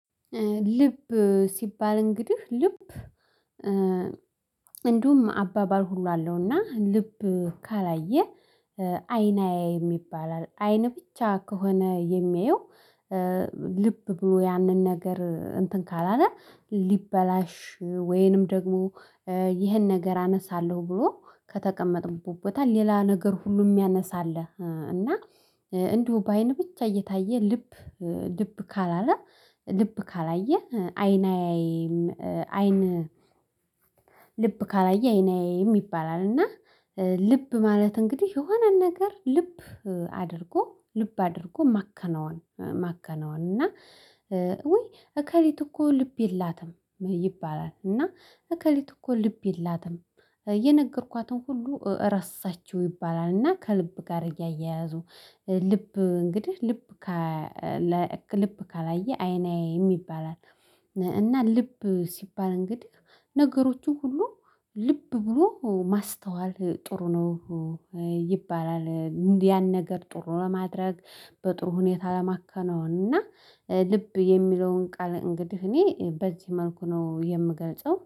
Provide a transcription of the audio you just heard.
ልብ ሲባል እንግዲህ ልብ እንዲሁም አባባል ሁሉ አለውና ልብ ካላየ አይን አያይም ይባላል አይን ብቻ ከሆነ የሚያየው። ልብ ብሎ ያንን ነገር እንትን ካላለ ሊበላሽ ወይንም ደግሞ ይህን ነገር አነሳለሁ ብሎ ከተቀመጠበት ቦታ ሌላ ነገር ሁሉ የሚያነሳ አለ። እና እንዲሁ በአይን ብቻ እየታየ ልብ ልብ ካላለ ልብ ካላየ አይን አያይም አይን። ልብ ካላየ አይን አይም ይባላል። እና ልብ ማለት እንግዲህ የሆነን ነገር ልብ አድርጎ ልብ አድርጎ ማከናወን። እና ወይ እከሊት እኮ ልብ የላትም ይባላል። እና እከሊት እኮ ልብ የላትም የነገርኳትን ሁሉ ረሳችው ይባላል። እና ከልብ ጋር እያያያዙ ልብ እንግዲህ ልብ ልብ ካላየ አይን አያይም ይባላል። እና ልብ ሲባል እንግዲህ ነገሮቹ ሁሉ ልብ ብሎ ማስተዋል ጥሩ ነው ይባላል። ያን ነገር ጥሩ ለማድረግ በጥሩ ሁኔታ ለማከነው እና ልብ የሚለውን ቃል እንግዲህ እኔ በዚህ መልኩ ነው የምገልጸው